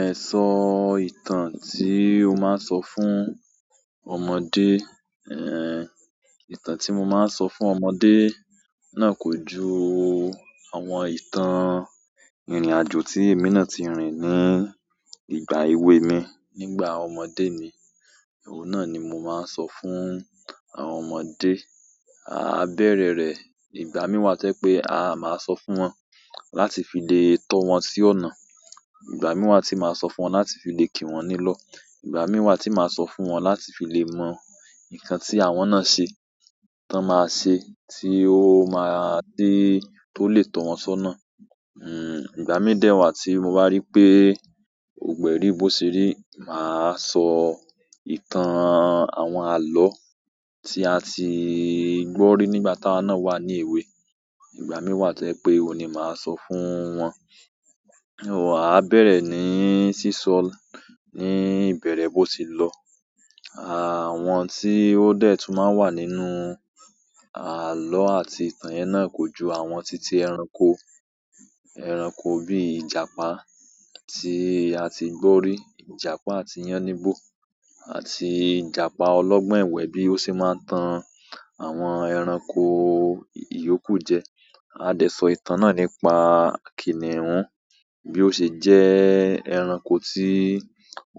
Ẹ̀ sọ ìtàn tí o máa ń sọ fún ọmọdé. Ehn, ìtàn tí mo máa ń sọ fún ọmọdé náà kójú àwọn ìtàn ìrìn-àjò tí èmi náà ti rìn ní ìgbà èwe mi nígbà ọmọdé mi. Ohun náà ni mo máa ń sọ fún àwọn ọmọdé. A bere re igbami wa to je pe ahh ma so fún won láti fi le to won si ọ̀nà. Ìgbà mí wá tí màá sọ fún wọn láti fi lè kí wọn nílọ́. Ìgbà mí wá tí màá sọ fún wọn láti fi lè mọ nǹkan tí àwọn náà ṣe, tí wọ́n máa ṣe, tí ó máa dé tó lè tọ̀ wọ́n ṣọ́nà. Hmm, ìgbà mí dẹ́wà tí mo bá rí pé gbogbo e ri bó ṣeri, màá sọ ìtàn àwọn àlọ́ tí a ti gbọ́ rí nígbà tá wa náà wà ní èwe. Ìgbà mí wá to je pé òun ni màá sọ fún wọn. Ó á bẹ̀rẹ̀ ní sísọ ní ìbẹ̀rẹ̀ bó ti lọ. Àwọn tí ó dẹ̀ tún máa wà nínú àlọ́ àti ìtàn yẹn náà kójú àwọn titi ẹranko. Ẹranko bí ìjàpá tí a ti gbọ́ rí, ìjàpá àti yánníbo, àti ìjàpá ọlọ́gbọ́n ẹ̀wẹ́ bí ó ṣe máa ń tan àwọn ẹranko ìyókù jẹ. A dẹ̀ sọ ìtàn náà nípa kìnìún bí ó ṣe jẹ́ ẹranko tí